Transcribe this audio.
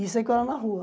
E saí com ela na rua.